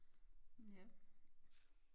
Ja